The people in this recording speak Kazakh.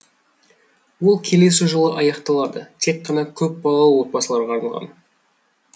ол келесі жылы аяқталады тек қана көпбалалы отбасыларға арналған